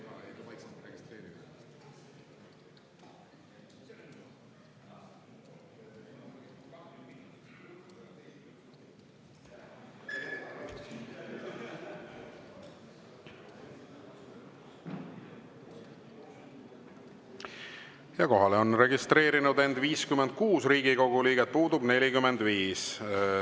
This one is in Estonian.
Kohalolijaks on end registreerinud 56 Riigikogu liiget, puudub 45.